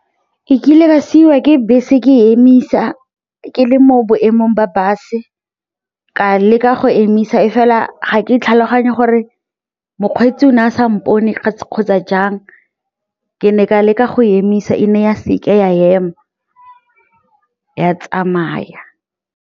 E kile ka siiwa ke bese ke emisa ke le mo boemong ba bus-e ka leka go emisa e fela ga ke tlhaloganye gore mokgweetsi o ne a sa mpone kgotsa jang, ke ne ka leka go emisa e ne ya seka ya ema, ya tsamaya.